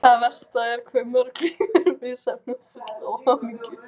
Það versta er hve mörg líf eru misheppnuð og full óhamingju.